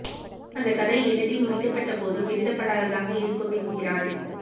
அந்த கதை எழுதி முடிக்க பட்ட போதும் எழுதப்படாததாக இருக்கும் என்கிறான்